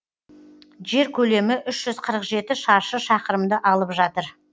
жер көлемі үш жүз қырық жеті шаршы шақырымды алып жатыр